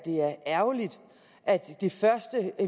det er ærgerligt at det første